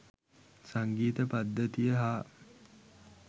සංගීත පද්ධතිය හා